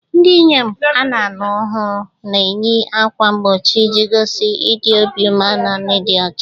Ndị inyom ana-alụ ọhụrụ na-eyi ákwà mgbochi iji gosi ịdị obi umeala na ịdị ọcha.